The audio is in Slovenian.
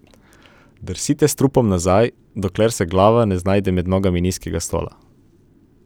Drsite s trupom nazaj, dokler se glava ne znajde med nogama nizkega stola.